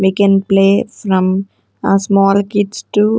We can play from a small kids to --